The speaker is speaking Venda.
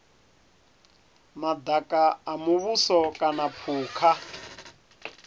madaka a muvhuso kana phukha